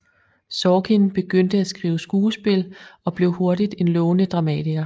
Sorkin begyndte at skrive skuespil og blev hurtigt en lovende dramatiker